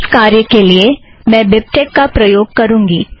इस कार्य के लिए मैं बिबटेक का प्रयोग करूँगी